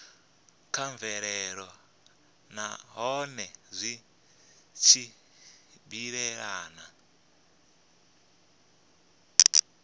kha mvelelo nahone zwi tshimbilelana